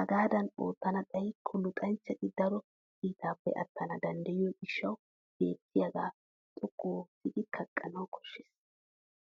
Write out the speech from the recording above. Hegaadan oottana xayikko luxanchchati daro kiitaappe attana danddiyo gishshawu beettiyaagaa xoqqu oottidi kaqqanaeu koshshes.